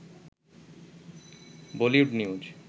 Bollywood news